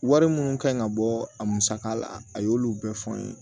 Wari minnu ka ɲi ka bɔ a musaka la a y'olu bɛɛ fɔ n ye